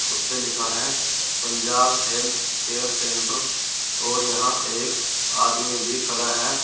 उस पे लिखा है पंजाब हेल्थ केयर सेंटर और यहां एक आदमी भी खड़ा है।